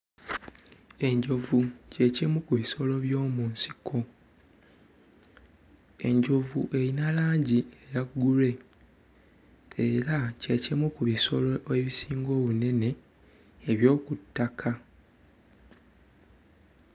Enjovu kye kimu ku bisolo by'omu nsiko, enjovu eyina langi eya grey era kye kimu ki bisolo ebisinga obunene eby'oku ttaka.